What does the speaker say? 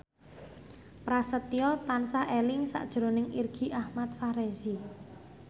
Prasetyo tansah eling sakjroning Irgi Ahmad Fahrezi